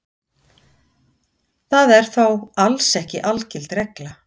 Það er þó alls ekki algild regla.